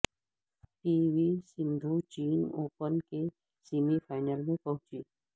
پی V Sindhu چین open کے semi final میں پہنچی